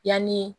Yanni